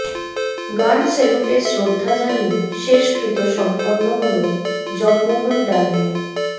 গান স্যালুটে শ্রদ্ধা জানিয়ে শেষকৃত্য সম্পন্ন হল জগমোহন ডালমিয়ার